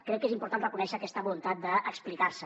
crec que és important reconèixer aquesta voluntat d’explicar se